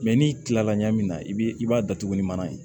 n'i kila la ɲagami min na i b'i b'a datugu ni mana ye